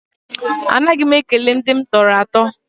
Anaghị m ekele ndị m tọrọ atọ.